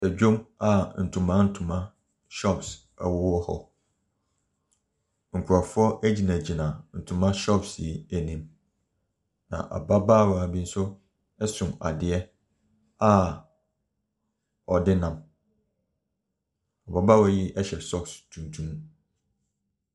Dwam a ntoma ntoma shops ɛwowɔ hɔ. Nkurɔfoɔ gyinagyina ntoma shops yi anim, na ababaawa bi nso so adeɛ a ɔde nam. Ababaawa yi hyɛ socks tuntum.